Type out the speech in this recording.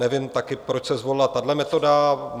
Nevím taky, proč se zvolila tahle metoda.